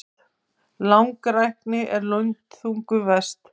Langrækni er lundþungum verst.